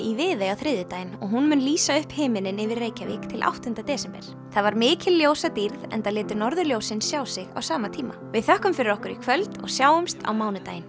í Viðey á þriðjudaginn og hún mun lýsa upp himininn yfir Reykjavík til áttunda desember það var mikil ljósadýrð enda létu norðurljósin sjá sig á sama tíma við þökkum fyrir okkur í kvöld og sjáumst á mánudaginn